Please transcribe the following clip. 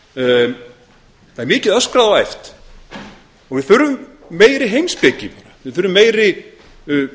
það er mikið öskrað og æpt við þurfum meiri heimspeki við þurfum meiri